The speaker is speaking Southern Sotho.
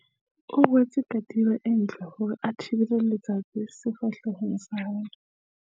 o rwetse katiba e ntle hore a thibele letsatsi sefahlehong sa hae